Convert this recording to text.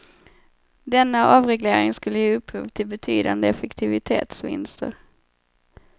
Denna avreglering skulle ge upphov till betydande effektivitetsvinster.